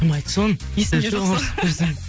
кім айтты соны есімде жоқ сол